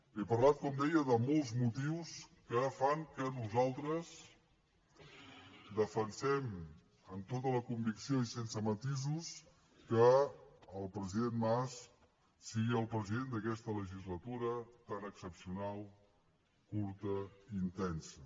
he parlat com deia de molts motius que fan que nosaltres defensem amb tota la convicció i sense matisos que el president mas sigui el president d’aquesta legislatura tan excepcional curta i intensa